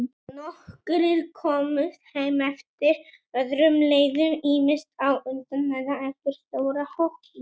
Nokkrir komust heim eftir öðrum leiðum, ýmist á undan eða eftir stóra hópnum.